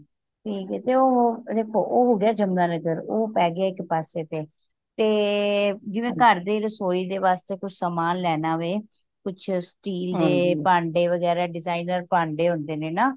ਠੀਕ ਏ ਤੇ ਉਹ ਹੋ ਗਯਾ ਜਮੁਨਾਨਾਗਾਰ ਉਹ ਪੈ ਗਯਾ ਇੱਕ ਪਾੱਸੇ ਤੇ ਜਿਵੇਂ ਘਰ ਦੀ ਰਸੋਇ ਦੇ ਵਾਸਤੇ ਕੁਛ ਸਮਾਨ ਲੈਣਾ ਵੇ ਕੁਛ steel ਦੇ ਭਾਂਡੇ ਵਗੈਰਾਹ designer ਭਾਂਡੇ ਹੁੰਦੇ ਨੇ ਨਾ